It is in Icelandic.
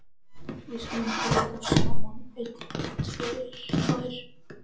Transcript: Við skulum telja þær saman: Ein. tvær.